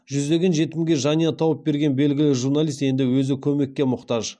жүздеген жетімге жанұя тауып берген белгілі журналист енді өзі көмекке мұқтаж